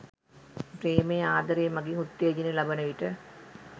ප්‍රේමය, ආදරය මඟින් උත්තේජනය ලබන විට